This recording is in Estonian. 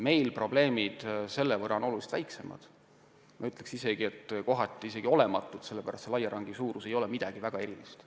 Meil on probleemid oluliselt väiksemad – ma ütleksin, et kohati isegi olematud –, sest meie raielangi suurus ei ole midagi väga erilist.